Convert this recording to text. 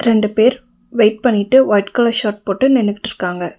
ரெண்டு பேரு வெயிட் பண்ணிட்டு ஒயிட் கலர் ஷர்ட் போட்டு நின்னுட்டுருக்காங்க.